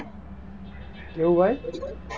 એવું હોય?